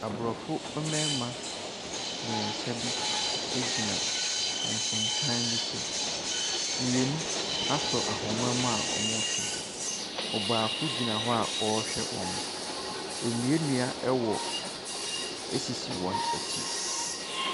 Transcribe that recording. Abrɔfo mmarima mmiɛnsa bi egyina ɛnsensan bi so. Mmienu asɔ ahoma mu a ɔɔtwe. Ɔbaako gyina hɔ a ɔrehwɛ wɔn. Enuanua ɛwɔ esisi wɔn ɛkyi.